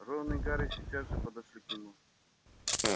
рон и гарри сейчас же подошли к нему